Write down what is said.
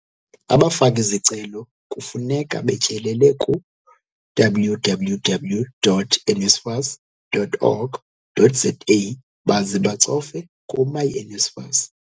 Abafaki-zicelo kufuneka betyelele ku-www.nsfas.org.za baze bacofe ku-myNSFAS.